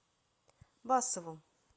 басову